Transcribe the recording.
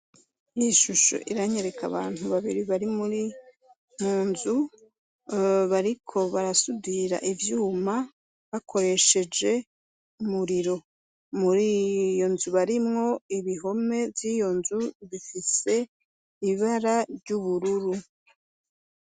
Iyi shusho iranyereka abantu babiri bari munzu, bariko barasudira ivyuma bakoresheje umuriro. Muriyonzu harimwo ibihome vyiyonzu bifise ibara ry'ubururu.